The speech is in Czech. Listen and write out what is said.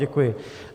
Děkuji.